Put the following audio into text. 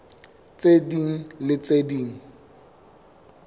tse ding le tse ding